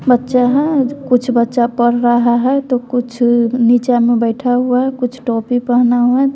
बच्छा है कुछ बच्चा पढ़ रहा है तो कुछ निचा में बैठा हुआ है कुछ टोपी पहना हुआ--